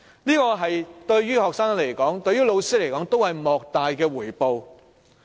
這對學生和老師而言，都是莫大的回報。